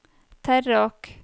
Terråk